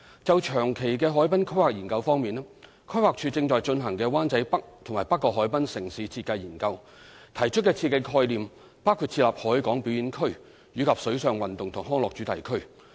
就長期的海濱規劃研究方面，規劃署正在進行的"灣仔北及北角海濱城市設計研究"，提出的設計概念包括設立"海港表演區"及"水上運動及康樂主題區"。